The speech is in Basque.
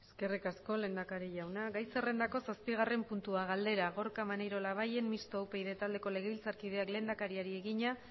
eskerrik asko lehendakari jauna gai zerrendako zazpigarren puntua galdera gorka maneiro labayen mistoa upyd taldeko legebiltzarkideak lehendakariari egina